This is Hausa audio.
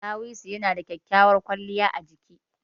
Ɗawisu na da kyakkyawar kwaliya a jiki.